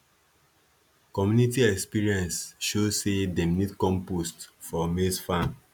community experience show say dem need compost for maize farm